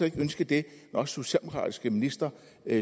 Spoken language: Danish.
ikke ønsket det når socialdemokratiske ministre